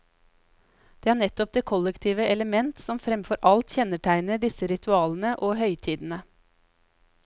Det er nettopp det kollektive elementet, som framfor alt kjennetegner disse ritualene og høytidene.